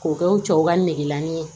K'o kɛ u cɛw ka negelani ye